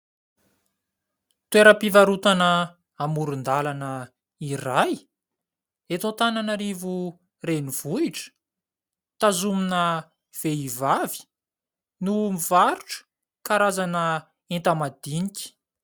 Toeram-pivarotana amoron-dalana iray eto Antananarivo renivohitra, tazomina vehivavy no mivarotra karazana entamadinika.